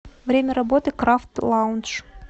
время работы крафт лаунж